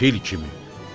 Fil kimi.